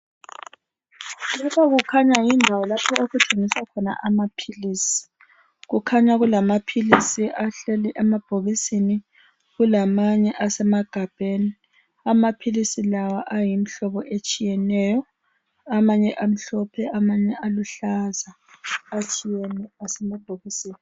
Lapha kukhanya yindawo lapho okugciniswa khona amaphilisi. Kukhanya kulamaphilisi ahleli emabhokisini, kulamanye asemagabheni. Amaphilisi lawa ayimhlobo etshiyeneyo. Amanye amhlophe, amanye aluhlaza. Atshiyene, asemabhokisini.